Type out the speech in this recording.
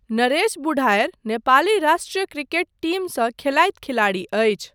नरेश बुढाऐर नेपाली राष्ट्रिय क्रिकेट टिमसँ खेलैत खेलाड़ी अछि।